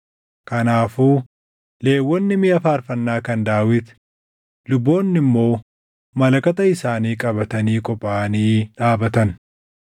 Kanaafuu Lewwonni miʼa faarfannaa kan Daawit, luboonni immoo malakata isaanii qabatanii qophaaʼanii dhaabatan.